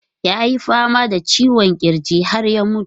Ya yi fama da ciwon kirji har ya mutu.